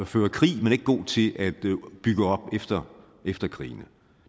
føre krig men ikke god til at bygge op efter efter krigene